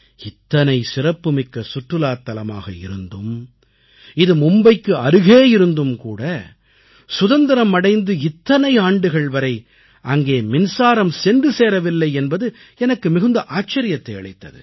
இத்தனை சிறப்புமிக்க சுற்றுலாத் தலமாக இருந்தும் இது மும்பைக்கு அருகே இருந்தும்கூட சுதந்திரம் அடைந்து இத்தனை ஆண்டுகள் வரை அங்கே மின்சாரம் சென்று சேரவில்லை என்பது எனக்கு மிகுந்த ஆச்சரியத்தை அளித்தது